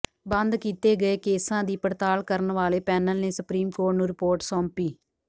ਬੰਦ ਕੀਤੇ ਗਏ ਕੇਸਾਂ ਦੀ ਪੜਤਾਲ ਕਰਨ ਵਾਲੇ ਪੈਨਲ ਨੇ ਸੁਪਰੀਮ ਕੋਰਟ ਨੂੰ ਰਿਪੋਰਟ ਸੌਂਪੀ